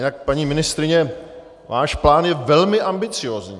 Jinak paní ministryně, váš plán je velmi ambiciózní.